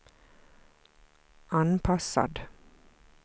anpassad